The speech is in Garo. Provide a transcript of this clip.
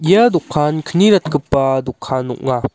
ia dokan kni ratgipa dokan ong·a.